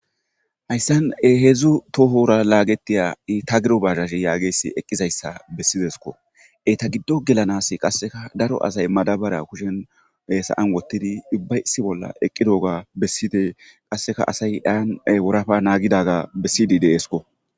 hayssan heedzdzu tohora laagetiya itagiro bazhazhe yaa giyayssi eqqizayssa bessidesko eta giddo gelanas qasseka daro asay madabara kushen hesaan wottidi ubba isi bolla eqqidoga besside qasseka asay taran worafa naagidaga bessidi deesko